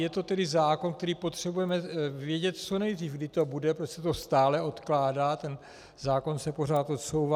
Je to tedy zákon, který potřebujeme vědět co nejdřív, kdy to bude, protože se to stále odkládá, ten zákon se pořád odsouvá.